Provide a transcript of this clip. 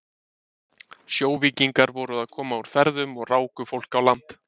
Sjóvíkingar voru að koma úr ferðum og ráku fólk á land.